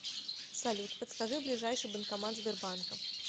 салют подскажи ближайший банкомат сбербанка